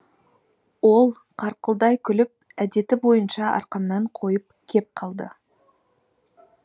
ол қарқылдай күліп әдеті бойынша арқамнан қойып кеп қалды